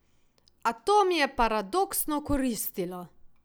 A to mi je paradoksno koristilo.